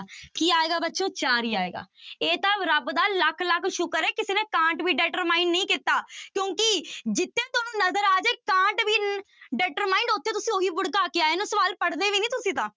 ਕੀ ਆਏਗਾ ਬੱਚੋਂ ਚਾਰ ਹੀ ਆਏਗਾ, ਇਹ ਤਾਂ ਰੱਬ ਦਾ ਲੱਖ ਲੱਖ ਸ਼ੁਕਰ ਹੈ ਕਿਸੇ ਨੇ cant be determined ਨਹੀਂ ਕੀਤਾ ਕਿਉਂਕਿ ਜਿੱਥੇ ਤੁਹਾਨੂੰ ਨਜ਼ਰ ਆ ਜਾਏ cant be determined ਉੱਥੇ ਤੁਸੀਂ ਉਹੀ ਬੁੜਕਾ ਆ ਜਾਂਦੇ ਹੋ, ਸਵਾਲ ਪੜ੍ਹਦੇ ਵੀ ਨੀ ਤੁਸੀਂ ਤਾਂ।